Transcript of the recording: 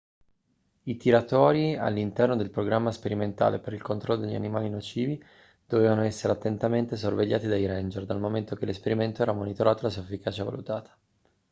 i tiratori all'interno del programma sperimentale per il controllo degli animali nocivi dovevano essere attentamente sorvegliati dai ranger dal momento che l'esperimento era monitorato e la sua efficacia valutata